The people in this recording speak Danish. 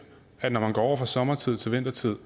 at når man går fra sommertid til vintertid